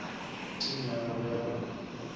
team ya gagwe ya go